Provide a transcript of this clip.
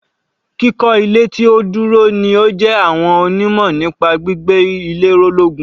Kíkọ́ ilé tí ó dúró ni ó jẹ àwọn onímọ̀ nípa gbígbé ilé ró lógún.